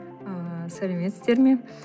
ыыы сәлеметсіздер ме